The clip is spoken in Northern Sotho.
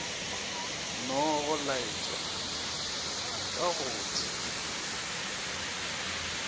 nogo laetwa ka go tsebio